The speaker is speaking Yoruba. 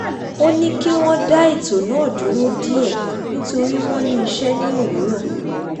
ó ní kí wọ́n dá ètò náà dúró díẹ̀ nítorí wọn ní iṣẹ́ ní òwúrọ̀